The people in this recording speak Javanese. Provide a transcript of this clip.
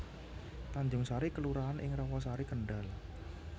Tanjungsari kelurahan ing Rawasari Kendhal